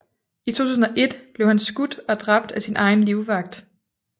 I 2001 blev han skudt og dræbt af sin egen livvagt